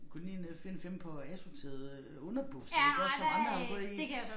Gå lige ned og find 5 par asorterede øh underbukser iggås som andre har gået i